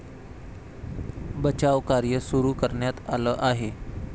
बचाव कार्य सुरू करण्यात आलं आहे.